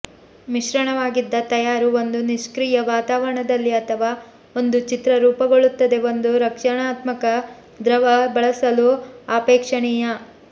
ಮಿಶ್ರಣವಾಗಿದ್ದ ತಯಾರು ಒಂದು ನಿಷ್ಕ್ರಿಯ ವಾತಾವರಣದಲ್ಲಿ ಅಥವಾ ಒಂದು ಚಿತ್ರ ರೂಪುಗೊಳ್ಳುತ್ತದೆ ಒಂದು ರಕ್ಷಣಾತ್ಮಕ ದ್ರವ ಬಳಸಲು ಅಪೇಕ್ಷಣೀಯ